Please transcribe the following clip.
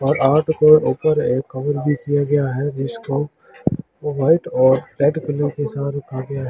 और आपके ऊपर एक --